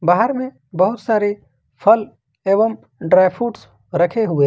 बाहर में बहुत सारे फल एवं ड्राई फ्रूट्स रखे हुए है।